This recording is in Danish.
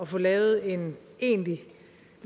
få lavet en egentlig